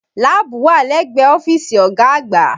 Láàbù wà lẹ́gbẹ̀ẹ́ ọ́fíìsì ọ̀gá àgbà